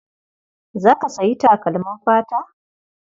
Za ka sayi takalmin fata?